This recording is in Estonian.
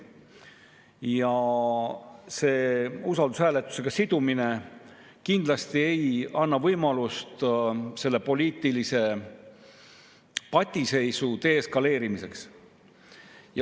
Ja see usaldushääletusega sidumine kindlasti ei anna võimalust selle poliitilise patiseisu deeskaleerimiseks.